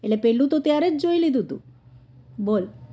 એને પહેલું તો ત્યારે જ જોઈ લીધું તુ બોલ